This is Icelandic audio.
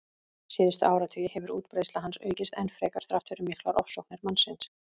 Síðustu áratugi hefur útbreiðsla hans aukist enn frekar þrátt fyrir miklar ofsóknir mannsins.